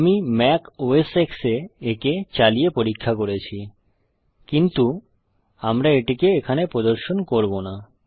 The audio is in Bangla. আমি ম্যাক ওএস X এ একে চালিয়ে পরীক্ষা করেছি কিন্তু আমরা এটিকে এখানে প্রদর্শন করব না